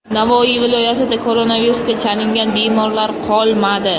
Navoiy viloyatida koronavirusga chalingan bemorlar qolmadi .